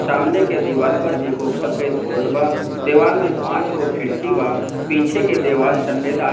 सामने के दीवाल पे एगो सफेद बोर्ड बा दीवाल मे पाच गो खिड़की बा पीछे के दीवाल सफेद आ।